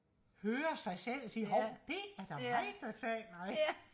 høre sig selv og sige hov det er da mig der taler ikke